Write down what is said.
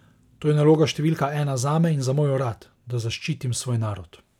To je naloga številka ena zame in za moj urad, da zaščitim svoj narod.